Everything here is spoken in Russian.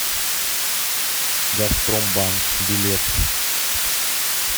газпромбанк билет